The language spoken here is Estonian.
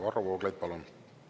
Varro Vooglaid, palun!